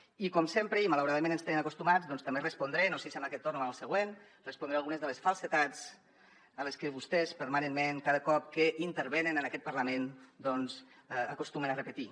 i com sempre i malauradament ens hi tenen acostumats també respondré no sé si en aquest torn o en el següent respondré algunes de les falsedats a les que vostès permanentment cada cop que intervenen en aquest parlament doncs acostumen a repetir